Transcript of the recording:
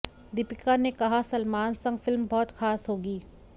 दीपिका ने कहा सलमान संग फिल्म बहुत खास होगी